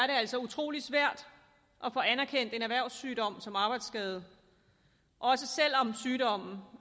altså utrolig svært at få anerkendt en erhvervssygdom som arbejdsskade også selv om sygdommen